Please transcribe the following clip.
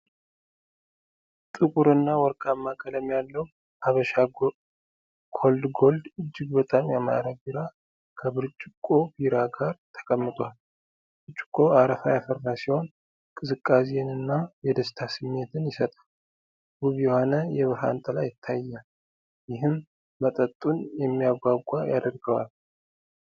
ጥቁር እና ወርቃማ ቀለም ያለው "ሀበሻ ኮልድ ጎልድ" እጅግ በጣም ያማረ ቢራ ከብርጭቆ ቢራ ጋር ተቀምጧል። ብርጭቆው አረፋ ያፈራ ሲሆን፣ የቅዝቃዜንና የደስታ ስሜትን ይሰጣል። ውብ የሆነ የብርሃን ጥላ ይታያል፣ ይህም መጠጡን የሚያጓጓ ያደርገዋል።